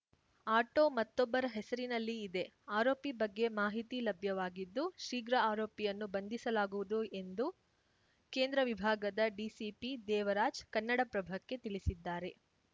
auto ಮತ್ತೊಬ್ಬರ ಹೆಸರಿನಲ್ಲಿ ಇದೆ ಆರೋಪಿ ಬಗ್ಗೆ ಮಾಹಿತಿ ಲಭ್ಯವಾಗಿದ್ದು ಶೀಘ್ರ ಆರೋಪಿಯನ್ನು ಬಂಧಿಸಲಾಗುವುದು ಎಂದು ಕೇಂದ್ರ ವಿಭಾಗದ ಡಿಸಿಪಿ ದೇವರಾಜ್‌ ಕನ್ನಡಪ್ರಭಕ್ಕೆ ತಿಳಿಸಿದ್ದಾರೆ